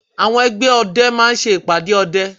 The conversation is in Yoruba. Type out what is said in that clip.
Àwọn ẹgbẹ́ ọdẹ máa ṣe ìpàdé ọdẹ